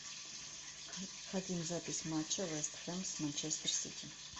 хотим запись матча вест хэм с манчестер сити